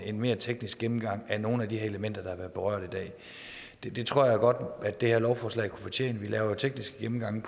en mere teknisk gennemgang af nogle af de elementer der har været berørt i dag det det tror jeg godt at det her lovforslag kunne fortjene vi laver tekniske gennemgange